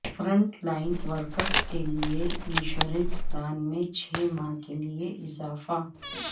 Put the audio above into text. front line workers کے لیے insurance plan میں چھ ماہ کے لیے اضافہ